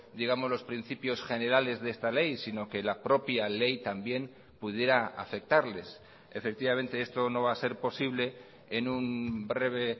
digamos los principios generales de esta ley sino que la propia ley también pudiera afectarles efectivamente esto no va a ser posible en un breve